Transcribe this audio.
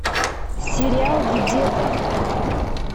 сериал где то